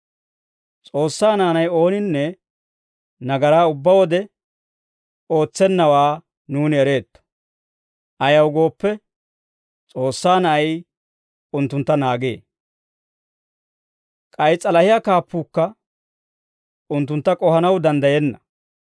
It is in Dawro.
S'oossaa naanay ooninne nagaraa ubbaa wode ootsennawaa nuuni ereetto. Ayaw gooppe, S'oossaa Na'ay unttuntta naagee; K'ay s'alahiyaa kaappuukka unttuntta k'ohanaw danddayenna.